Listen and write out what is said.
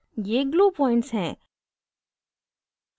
ये glue points हैं